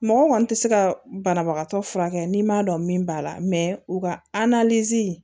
Mɔgɔ kɔni tɛ se ka banabagatɔ furakɛ n'i m'a dɔn min b'a la u ka